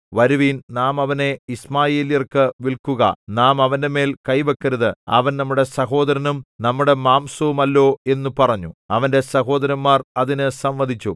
വരുവിൻ നാം അവനെ യിശ്മായേല്യർക്കു വില്‍ക്കുക നാം അവന്റെമേൽ കൈ വെക്കരുത് അവൻ നമ്മുടെ സഹോദരനും നമ്മുടെ മാംസവുമല്ലോ എന്നു പറഞ്ഞു അവന്റെ സഹോദരന്മാർ അതിന് സമ്മതിച്ചു